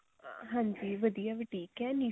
ਹਾਂਜੀ ਵਧੀਆ boutique ਹੈ